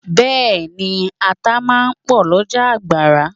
Bẹẹni, ata máa ń pò lọjà agbara.